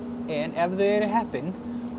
en ef þau eru heppin